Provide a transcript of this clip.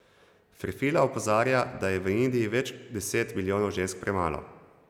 Ferfila opozarja, da je v Indiji več deset milijonov žensk premalo.